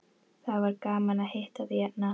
Það var gaman að hitta þig hérna.